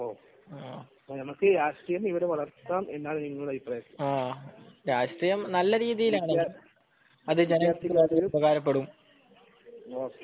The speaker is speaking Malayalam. നമുക്ക് രാഷ്ട്രീയം നല്ല രീതിയിൽ വളർത്തിയാൽ നമുക്ക് ഉപകാരപ്പെടും